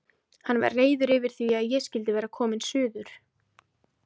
Hann var reiður yfir því að ég skyldi vera komin suður.